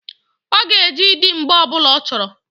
Ọ ga-eji di mgbe ọbụla ọ chọrọ.